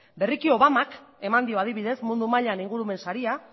berriki obamak eman dio adibidez mundu mailan ingurumen saria